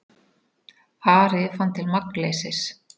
Ari fann til magnleysis.